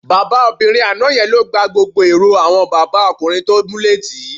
Bábà obìnrin àná ye̩n ló gba gbogbo èrò àwo̩n bàbá o̩kùnrin tó múlé tì í